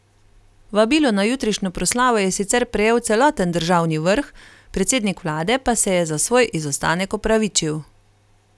Vabilo na jutrišnjo proslavo je sicer prejel celoten državni vrh, predsednik vlade pa se je za svoj izostanek opravičil.